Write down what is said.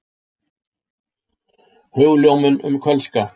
Hugljómun um kölska.